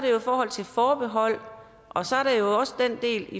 jo i forhold til forbehold og så er der jo også den del